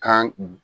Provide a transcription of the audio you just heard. Kan